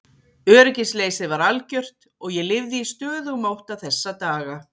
Öryggisleysið var algjört og ég lifði í stöðugum ótta þessa daga.